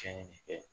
Cɛnni de kɛ